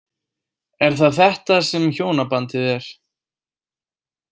Er það þetta sem hjónabandið er?